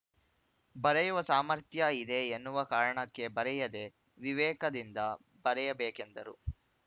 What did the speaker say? ಬರೆಯುವ ಸಾಮರ್ಥ್ಯ ಇದೆ ಎನ್ನುವ ಕಾರಣಕ್ಕೆ ಬರೆಯದೇ ವಿವೇಕದಿಂದ ಬರೆಯಬೇಕೆಂದರು